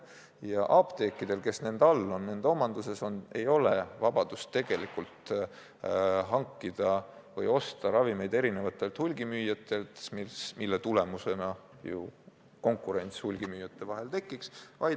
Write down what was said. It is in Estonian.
Ja apteekidel, kes nende omanduses on, ei ole vabadust hankida või osta ravimeid teistelt hulgimüüjatelt, nii et tekiks hulgimüüjate vahel konkurents.